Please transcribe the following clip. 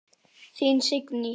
Þín Signý.